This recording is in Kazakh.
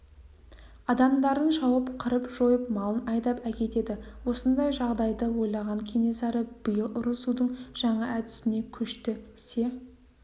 адамдарын шауып қырып-жойып малын айдап әкетеді осындай жағдайды ойлаған кенесары биыл ұрысудың жаңа әдісіне көшті се